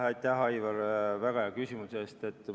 Aitäh, Aivar, väga hea küsimuse eest!